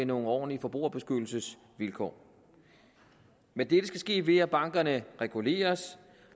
nogle ordentlige forbrugerbeskyttelsesvilkår men dette skal ske ved at bankerne reguleres